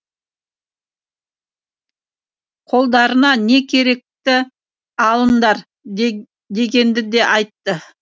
қолдарыңа не керекті алыңдар дегенді де айтты